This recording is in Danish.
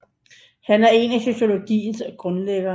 Han er en af sociologiens grundlæggere